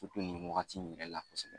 nin wagati in yɛrɛ la kosɛbɛ.